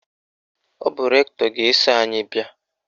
Ọ bụ rektọ ga-eso anyị bịa.